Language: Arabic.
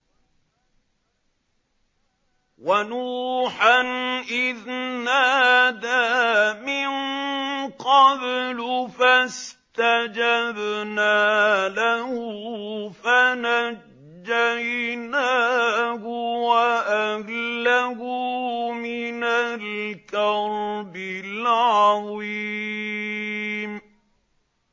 وَنُوحًا إِذْ نَادَىٰ مِن قَبْلُ فَاسْتَجَبْنَا لَهُ فَنَجَّيْنَاهُ وَأَهْلَهُ مِنَ الْكَرْبِ الْعَظِيمِ